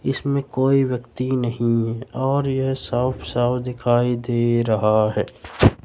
इसमें कोई व्यक्ति नहीं है और यह साफ साफ दिखाई दे रहा है।